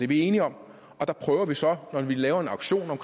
vi enige om der prøver vi så når vi laver en auktion om